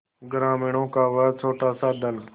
ग्रामीणों का वह छोटासा दल